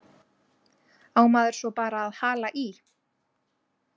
Á maður svo bara að hala í?